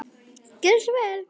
Gerðu svo vel!